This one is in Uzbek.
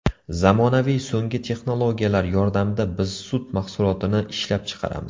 Zamonaviy so‘nggi texnologiyalar yordamida biz sut mahsulotini ishlab chiqaramiz.